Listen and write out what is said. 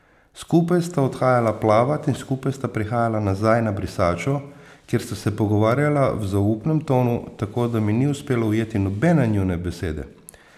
Skupaj sta odhajala plavat in skupaj sta prihajala nazaj na brisačo, kjer sta se pogovarjala v zaupnem tonu, tako da mi ni uspelo ujeti nobene njune besede.